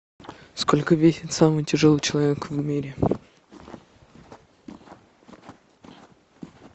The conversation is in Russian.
сколько весит самый тяжелый человек в мире